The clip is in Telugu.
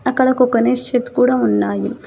అక్కడ ఒక గణేష్ చెట్టు కూడా ఉన్నాయి.